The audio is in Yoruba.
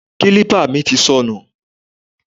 Kálípà mi ti sọnù